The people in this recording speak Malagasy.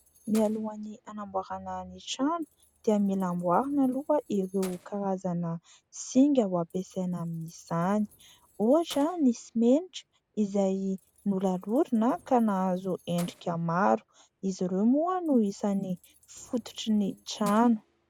Mialoha ny hanamboarana ny trano dia mila amboarina aloha ireo karazana singa ho ampiasaina amin'izany ohatra ny simenitra izay nolalorina ka nahazo endrika maro ; izy ireo moa no isan'ny fototry ny trano.